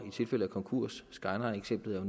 tilfælde af konkurs skylineeksemplet er